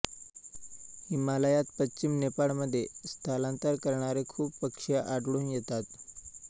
हिमालयात पश्चिम नेपाळमध्ये स्थलांतर करणारे खूप पक्षी आढळून येतात